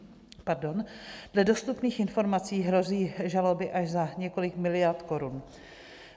Dle dostupných informací hrozí žaloby až za několik miliard korun.